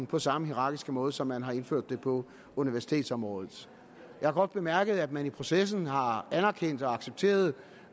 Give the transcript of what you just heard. på samme hierarkiske måde som man har indført det på universitetsområdet jeg har godt bemærket at man i processen har anerkendt og accepteret